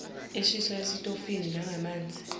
eshiswa esitofini nangamanzi